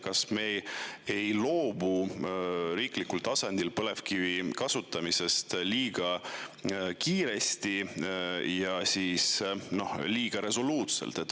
Kas me ei loobu riiklikul tasandil põlevkivi kasutamisest liiga kiiresti ja liiga resoluutselt?